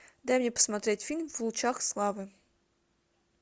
дай мне посмотреть фильм в лучах славы